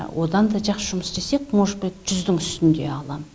одан да жақсы жұмыс істесек может быть жүздің үстінде алам